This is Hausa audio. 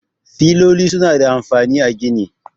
Filoli suna da amfani a gini.